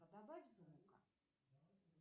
а добавь звука